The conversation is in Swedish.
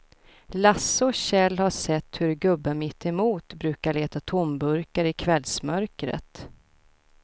Lasse och Kjell har sett hur gubben mittemot brukar leta tomburkar i kvällsmörkret.